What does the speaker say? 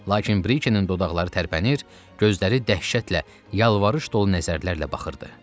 Lakin Brikenin dodaqları tərpənir, gözləri dəhşətlə yalvarış dolu nəzərlərlə baxırdı.